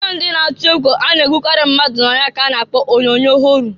Onyoonyo ndị na-atụ egwu a na-egbukari mmadụ na ya ka a na-kpọ onyoonyoo họrọ.